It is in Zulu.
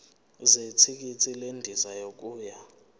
zethikithi lendiza yokuya